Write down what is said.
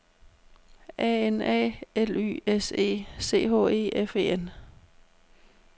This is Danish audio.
A N A L Y S E C H E F E N